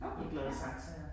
Okay, ja ja